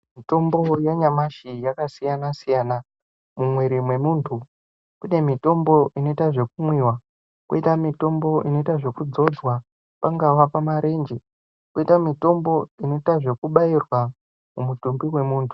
Mitombo ya nyamashi yaka siyana siyana mu mwiri mwe muntu kune mitombo inoita zveku mwiwa koita mitombo inoita zveku dzodzwa pangava pa marenje koita mitombo inoita zveku bairwa pa mutumbi we muntu.